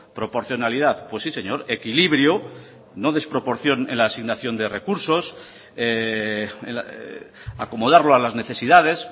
proporcionalidad pues sí señor equilibrio no desproporción en la asignación de recursos acomodarlo a las necesidades